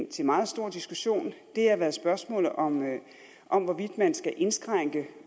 til meget stor diskussion har været spørgsmålet om om hvorvidt man skal indskrænke